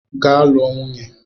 Gaa lụọ nwunye!